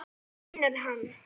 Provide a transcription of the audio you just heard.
Það finnur hann.